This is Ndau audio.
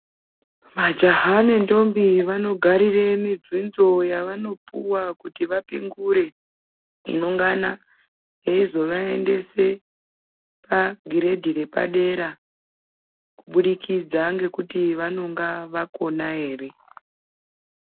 Majaha nentombi vanogarire mibvunzo yavanopuwa kuti vapingure inongana yeyizovayendese pagiredhi repadera kuburikidza nekuti vanonga vakona here.